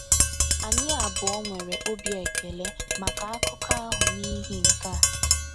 Anyị abụọ nwere obi ekele maka akụkọ ahụ n’ihi nke a.